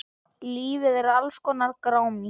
Lífið er alls konar grámi.